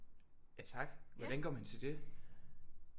Ja tak hvordan går man til det